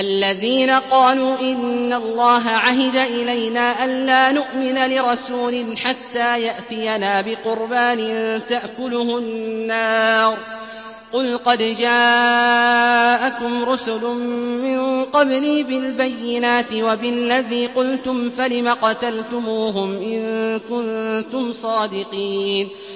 الَّذِينَ قَالُوا إِنَّ اللَّهَ عَهِدَ إِلَيْنَا أَلَّا نُؤْمِنَ لِرَسُولٍ حَتَّىٰ يَأْتِيَنَا بِقُرْبَانٍ تَأْكُلُهُ النَّارُ ۗ قُلْ قَدْ جَاءَكُمْ رُسُلٌ مِّن قَبْلِي بِالْبَيِّنَاتِ وَبِالَّذِي قُلْتُمْ فَلِمَ قَتَلْتُمُوهُمْ إِن كُنتُمْ صَادِقِينَ